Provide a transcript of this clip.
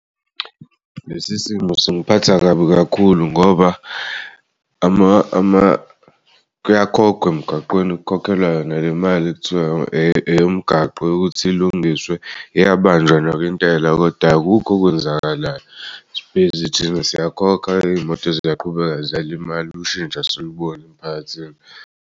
Lesi simo singiphatha kabi kakhulu ngoba kuyakhokhwa emgaqweni, kukhokhelwa yona lemali ekuthiwa eyomgaqo yokuthi ulungiswe. Iyabanjwa nayo intela kodwa akukho okwenzakalayo, si-busy thina siyakhokha iy'moto ziyaqhubeka ziyalimala ushintsho asiliboni emphakathini.